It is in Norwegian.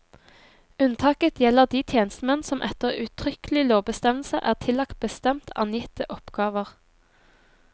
Unntaket gjelder de tjenestemenn som etter uttrykkelig lovbestemmelse er tillagt bestemt angitte oppgaver.